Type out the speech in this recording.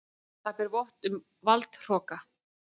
Það ber vott um valdhroka.